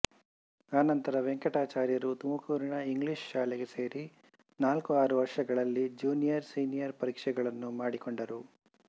ಅನಂತರ ವೆಂಕಟಾಚಾರ್ಯರು ತುಮಕೂರಿನ ಇಂಗ್ಲಿಷ್ ಶಾಲೆಗೆ ಸೇರಿ ನಾಲ್ಕುಆರು ವರ್ಷಗಳಲ್ಲಿ ಜೂನಿಯರ್ ಸೀನಿಯರ್ ಪರೀಕ್ಷೆಗಳನ್ನೂ ಮಾಡಿಕೊಂಡರು